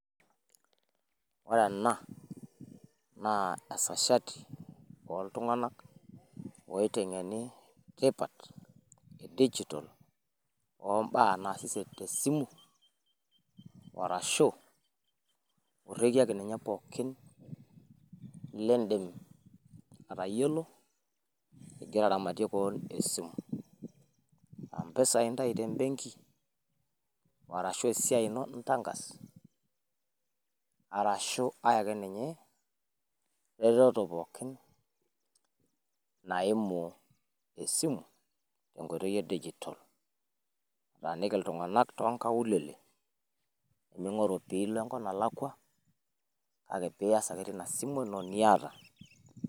ore ena naa esajati ooltungana oitengeni, tipat edijital, ombaa naas esiai te simu, arashu orekie ake ninye pookin lidim atayiolo igira aramatie kewon esimu, aa mpisai intayu te benki, aa esiai in intankas, arashu ae ake ninye, retoto pookin naimu esimu te nkoitoi eidigital, etaaniki iltungana too nkaulele, mintoki alo enelakua kake pee ias ake teina simu ino niata.